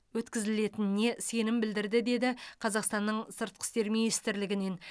өткізілетініне сенім білдірді деді қазақстанның сыртқы істер министрлігінен